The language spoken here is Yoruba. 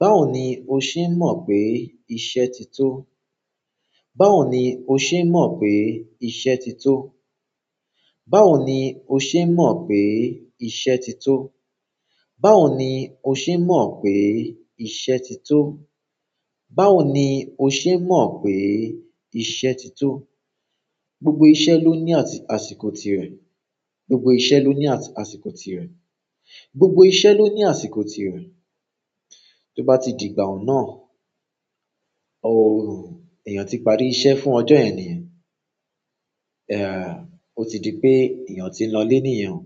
Báwo ni o ṣe mọ̀ pé iṣẹ́ ti tó? Báwo ni o ṣe mọ̀ pé iṣẹ́ ti tó? Báwo ni o ṣe mọ̀ pé iṣẹ́ ti tó? Báwo ni o ṣe mọ̀ pé iṣẹ́ ti tó? Báwo ni o ṣe mọ̀ pé iṣẹ́ ti tó? Gbogbo iṣẹ́ ló ní àsìkò tirẹ̀, gbogbo iṣẹ́ ló ní àsìkò tirẹ̀, gbogbo iṣẹ́ ló ní àsìkò tirẹ̀. Tó bá ti di ìgbà ọ̀nà, òhùn, èèyàn ti parí iṣẹ́ fún ọjọ́ yen niyen, ẹàá, ó ti di pé èèyàn ti ń lọlé niyen o.